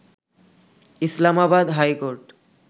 Islamabad high court